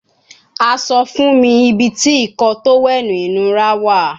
A sọ fun mi ibiti Ìkọ́ọ tówẹ́ẹ̀nù inura wa